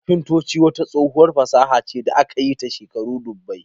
Kafinta wata tsohuwar fasaha ce da aka yi ta shekaru dubbai.